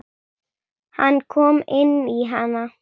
Hann kom inn í hana.